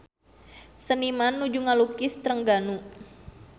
Seniman nuju ngalukis Trengganu